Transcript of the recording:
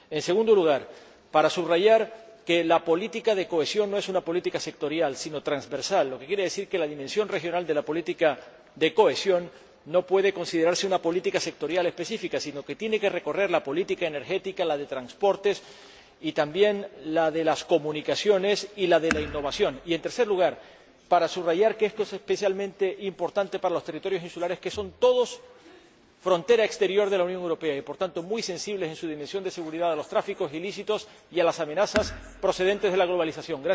En segundo lugar, para subrayar que la política de cohesión no es una política sectorial, sino transversal, lo que quiere decir que la dimensión regional de la política de cohesión no puede considerarse una política sectorial específica, sino que tiene que recorrer la política energética, la de transportes y también la de las comunicaciones y la de innovación. Y, en tercer lugar, para subrayar que esto es especialmente importante para los territorios insulares, que son todos ellos frontera exterior de la Unión Europea y, por tanto, muy sensibles en su dimensión de seguridad a los tráficos ilícitos y a las amenazas procedentes de la globalización.